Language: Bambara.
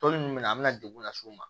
Tɔli min bɛ na an bɛna degun lase u ma